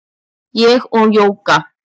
Ég og Jóga